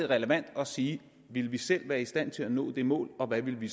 relevant at sige ville vi selv være i stand til at nå det mål og hvad ville vi